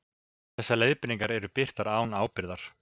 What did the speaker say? Þessar leiðbeiningar eru birtar án ábyrgðar.